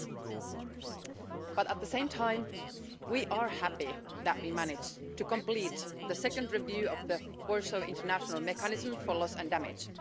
6. But at the same time we are happy that we managed to complete the second review of the Warsaw International Mechanism for Loss and Damage.